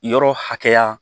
Yɔrɔ hakɛya